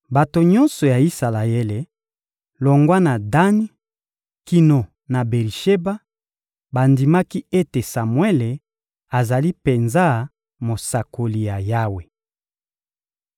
Bato nyonso ya Isalaele, longwa na Dani kino na Beri-Sheba, bandimaki ete Samuele azali penza mosakoli ya Yawe.